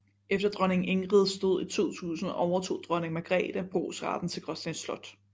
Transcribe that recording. Efter dronning Ingrids død i 2000 overtog dronning Margrethe brugsretten til Gråsten Slot